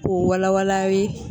U wala wala len